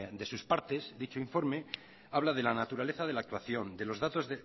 de sus partes dicho informe habla de la naturaleza de la actuación de los datos